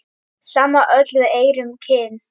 Sama öll við erum kyn.